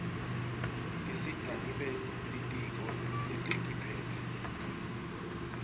tisita nebelitiko letekiphepha